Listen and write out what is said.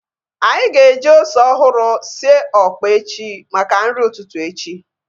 Anyị ga-eji ose ọhụrụ sie ọkpa echi maka nri ụtụtụ echi